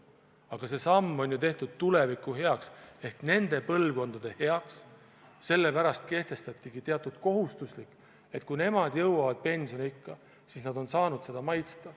Aga see samm on ju tehtud tuleviku heaks ehk nende põlvkondade heaks, sellepärast kehtestatigi teatud kohustus, et kui nemad jõuavad pensioniikka, siis nad saaksid seda maitsta.